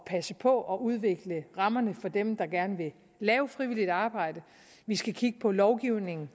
passe på at udvikle rammerne for dem der gerne vil lave frivilligt arbejde vi skal kigge på lovgivningen